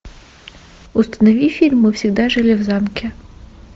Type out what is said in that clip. установи фильм мы всегда жили в замке